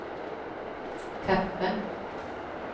kaffe